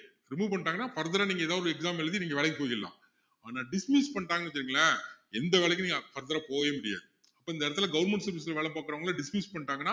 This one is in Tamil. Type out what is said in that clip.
remove பண்ணிட்டாங்கன்னா further ஆ நீங்க ஏதாவது ஒரு exam எழுதி நீங்க வேலைக்கு போய்க்கலாம் ஆனா dismiss பண்ணிட்டாங்கன்னு வச்சிக்கோங்களேன் எந்த வேலைக்கும் நீங்க further ஆ போகவே முடியாது இப்போ இந்த இடத்துல government service ல வேல பாக்குறவங்களை dismiss பண்ணிட்டாங்கன்னா